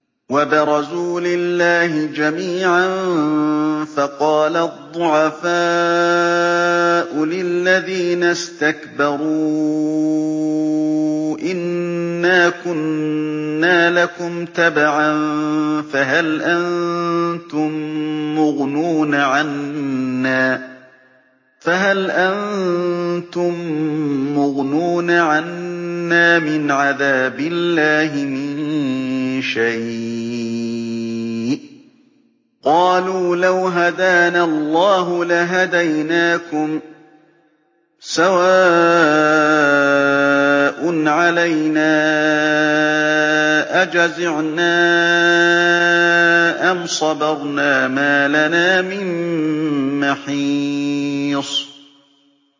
وَبَرَزُوا لِلَّهِ جَمِيعًا فَقَالَ الضُّعَفَاءُ لِلَّذِينَ اسْتَكْبَرُوا إِنَّا كُنَّا لَكُمْ تَبَعًا فَهَلْ أَنتُم مُّغْنُونَ عَنَّا مِنْ عَذَابِ اللَّهِ مِن شَيْءٍ ۚ قَالُوا لَوْ هَدَانَا اللَّهُ لَهَدَيْنَاكُمْ ۖ سَوَاءٌ عَلَيْنَا أَجَزِعْنَا أَمْ صَبَرْنَا مَا لَنَا مِن مَّحِيصٍ